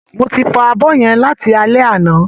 Mo ti fọ abọ́ yẹn láti alé àná